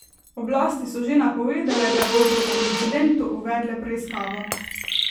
Oblasti so že napovedale, da bodo o incidentu uvedle preiskavo.